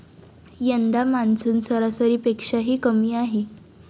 यंदा मान्सून सरा'सरी'पेक्षाही कमी!